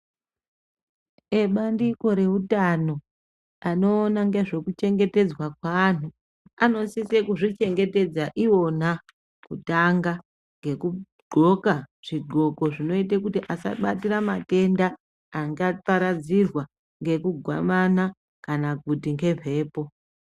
Ebandiko reutano anoona ngezvekuchengetedzwa kwavanhu anosise kuzvichengetedza iwona ngekutanga ngekudxoka zvidxoko zvinoite kuti asabatira matenda angaparadzirwa ngekugwamana kana kuti ngemhepo.